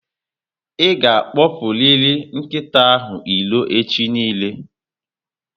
I ga akpopuriri nkịta ahụ irò echi niile